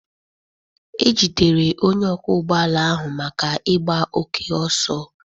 E jidere onye ọkwọ ụgbọ ala ahụ maka igba oke oso.